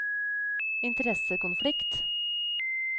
interessekonflikt